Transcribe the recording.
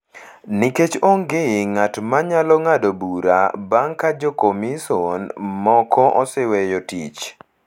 nikech onge ng’at ma nyalo ng’ado bura bang’ ka jokomison moko oseweyo tich.